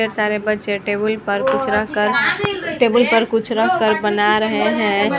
ढेर सारे बच्चे टेबल पर कुछ रखकर टेबल पर कुछ रखकर बना रहे हैं ।